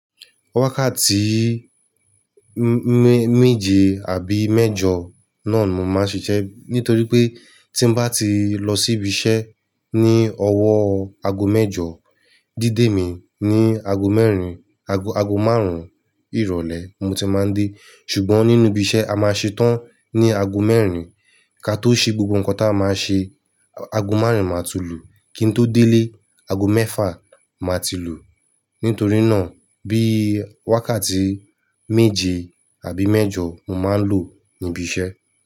Wákàtí mé-méje àbí mẹ́jọ náà mo máa ń ṣiṣẹ́ nítorí pé tí bá ti lọ síbi iṣẹ́ ní ọwọ́ aago mẹ́jọ, dídé mi ní aago mẹ́rin, aago, aago márùn-ún ìrọ̀lẹ́ mo ti máa ń dé. Ṣùgbọ́n nínú ibi iṣẹ́ a máa ṣe tán ní aago mẹ́rin. Ka tó ṣe gbogbo nǹkan tí a máa ṣe, aago márùn-ún máa ti lù. Kí n tó délé, aago mẹ́fà máa ti lù. Nítorí náà bí wákàtí méje àbí mẹ́jọ mo máa ń lò níbi iṣẹ́.